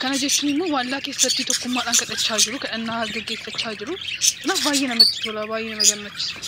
Kana jechuun immoo waldaa keessatti tokkummaadhaan kadhachaa jiru. Kadhannaa geggeeffachaa jiru. Kanaaf baay'ee namatti tola. Baay'ee nama gammachiisu.